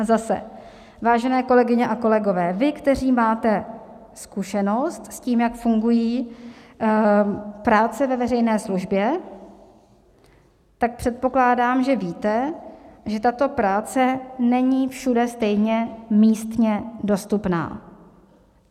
A zase, vážené kolegyně a kolegové, vy, kteří máte zkušenost s tím, jak fungují práce ve veřejné službě, tak předpokládám, že víte, že tato práce není všude stejně místně dostupná.